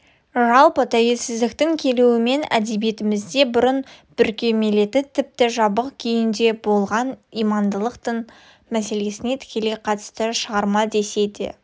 жалпы тәуелсіздіктің келуімен әдебиетімізде бұрын бүркемеленіп тіпті жабық күйінде болған имандылық дін мәселесіне тікелей қатысты шығарма десе де